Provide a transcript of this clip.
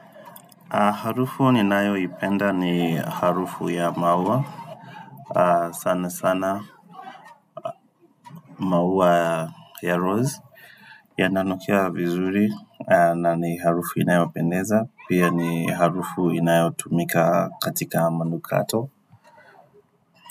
Harufu ninayoipenda ni harufu ya maua sana sana maua ya rose yananukia vizuri na ni harufu inayopendeza pia ni harufu inayotumika katika manukato.